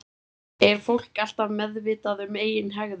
Er fólk alltaf meðvitað um eigin hegðun?